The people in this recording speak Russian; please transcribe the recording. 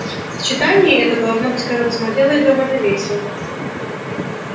сочетание это должно быть когда-то смотрелось довольно весело